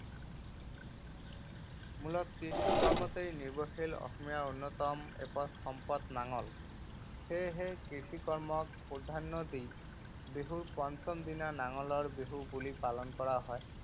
মূলতঃ কৃষি কৰ্মতে নিৰ্ভৰশীল অসমীয়াৰ অন্যতম এপদ সম্পদ নাঙল। সেয়েহে কৃষি কৰ্মক প্ৰাধান্য দি বিহুৰ পঞ্চম দিনা নাঙলৰ বিহু বুলি পালন কৰা হয়।